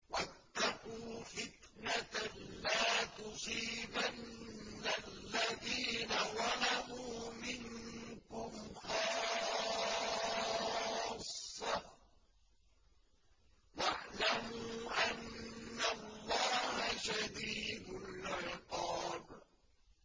وَاتَّقُوا فِتْنَةً لَّا تُصِيبَنَّ الَّذِينَ ظَلَمُوا مِنكُمْ خَاصَّةً ۖ وَاعْلَمُوا أَنَّ اللَّهَ شَدِيدُ الْعِقَابِ